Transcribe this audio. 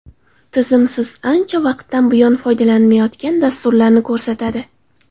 Tizim siz ancha vaqtdan buyon foydalanmayotgan dasturlarni ko‘rsatadi.